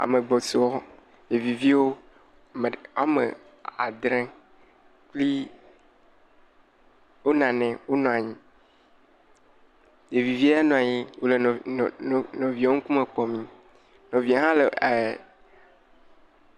Ame gbɔsɔsɔ ɖevi viwo … woame adre kpli onanɛ onɔa nyi, ɖevivie nɔ aŋi wole nɔ nɔ no nɔvie wo ŋkume kpɔmi, nɔvie hã le ee..